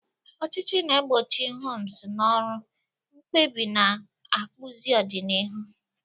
Ọchịchị na-egbochi hums na ọrụ, mkpebi na-akpụzi ọdịnihu.